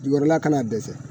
Jukɔeɔla kana dɛsɛ.